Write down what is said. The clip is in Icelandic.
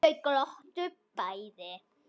Þau glottu bæði.